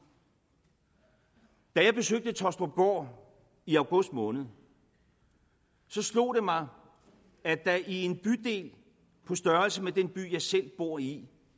da jeg besøgte tåstrupgård i august måned slog det mig at der i en bydel på størrelse med den by jeg selv bor i